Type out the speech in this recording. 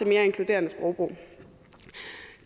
mere inkluderende sprogbrug